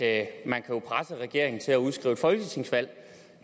at man kan presse regeringen til at udskrive et folketingsvalg